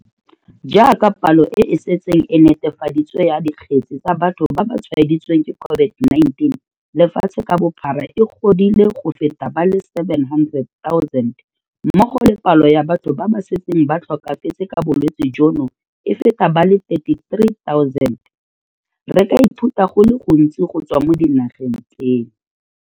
Jaaka palo e e setseng e netefaditswe ya dikgetse tsa batho ba ba tshwaeditsweng ke COVID-19 lefatshe ka bophara e godile go feta ba le 700 000 mmogo le palo ya batho ba ba setseng ba tlhokafetse ka bolwetse jono e feta ba le 33 000, re ka ithuta go le gontsi go tswa mo dinageng tseno.